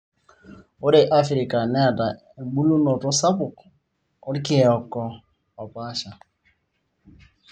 Ore afrika neata ebulunoto sapuk oorkieko opasha.